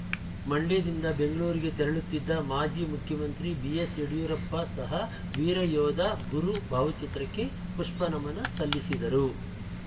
ಮಂಡ್ಯದಿಂದ ಬೆಂಗಳೂರಿಗೆ ತೆರಳುತ್ತಿದ್ದ ಮಾಜಿ ಮುಖ್ಯಮಂತ್ರಿ ಬಿಎಸ್‌ಯಡಿಯೂರಪ್ಪ ಸಹ ವೀರಯೋಧ ಗುರು ಭಾವಚಿತ್ರಕ್ಕೆ ಪುಷ್ಪನಮನ ಸಲ್ಲಿಸಿದರು